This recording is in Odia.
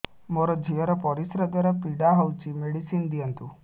ମୋ ଝିଅ ର ପରିସ୍ରା ଦ୍ଵାର ପୀଡା ହଉଚି ମେଡିସିନ ଦିଅନ୍ତୁ